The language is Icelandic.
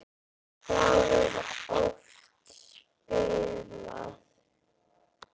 Þá var oft spilað.